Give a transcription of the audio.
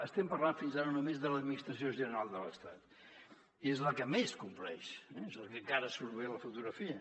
estem parlant fins ara només de l’administració general de l’estat i és la que més compleix és la que encara surt bé a la fotografia